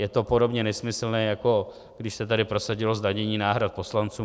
Je to podobně nesmyslné, jako když se tady prosadilo zdanění náhrad poslancům.